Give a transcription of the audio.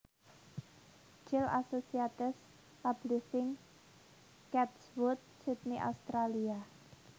Child Associates Publishing Chatswood Sydney Australia